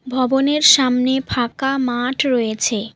ভবনের সামনে ফাঁকা মাঠ রয়েছে।